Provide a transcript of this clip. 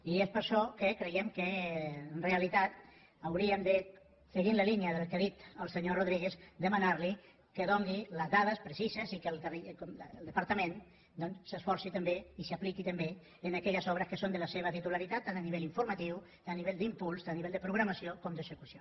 i és per això que creiem que en realitat hauríem de seguint la línia del que ha dit el senyor rodríguez demanar li que doni les dades precises i que el departament doncs s’esforci també i s’apliqui també en aquelles obres que són de la seva titularitat tant a nivell informatiu tant a nivell d’impuls tant a nivell de programació com d’execució